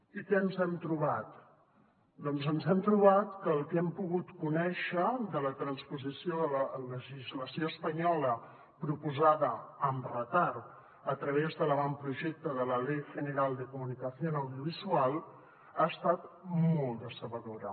i què ens hem trobat doncs ens hem trobat que el que hem pogut conèixer de la transposició de la legislació espanyola proposada amb retard a través de l’avantprojecte de la ley general de comunicación estat molt decebedora